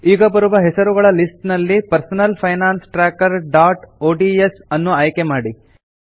ಈಗ ಬರುವ ಹೆಸರುಗಳ ಲಿಸ್ಟ್ ನಲ್ಲಿ personal finance tracker dot ODS ಅನ್ನು ಆಯ್ಕೆ ಮಾಡಿ